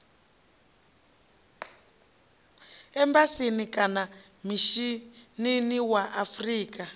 embasini kana mishinini wa afrika